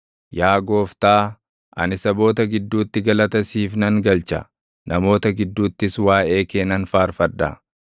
Yaa Gooftaa, ani saboota gidduutti galata siif nan galcha; namoota gidduuttis waaʼee kee nan faarfadha.